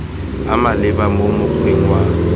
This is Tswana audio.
a maleba mo mokgweng wa